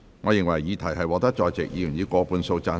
我認為議題獲得在席委員以過半數贊成。